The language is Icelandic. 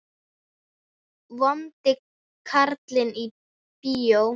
Vondi karlinn í bíó?